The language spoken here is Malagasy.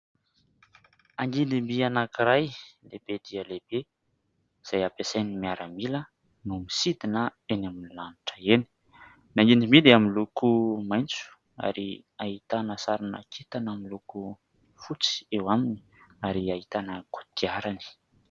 Angidim-by anankiray lehibe dia lehibe izay ampiasain'ny miaramila no misidina eny amin'ny lanitra eny. Ny angidim-by dia miloko maitso ary ahitana sarina kintana miloko fotsy eo aminy ary ahitana kodiarany.